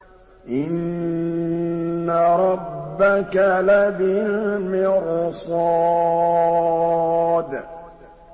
إِنَّ رَبَّكَ لَبِالْمِرْصَادِ